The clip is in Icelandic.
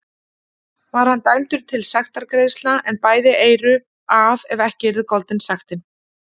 Var hann dæmdur til sektargreiðslna, en bæði eyru af ef ekki yrði goldin sektin.